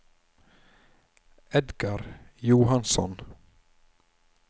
Edgar Johansson